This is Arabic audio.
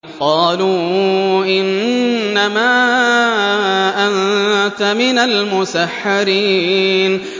قَالُوا إِنَّمَا أَنتَ مِنَ الْمُسَحَّرِينَ